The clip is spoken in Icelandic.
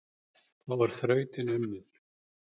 Þá er þrautin unnin,